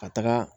Ka taga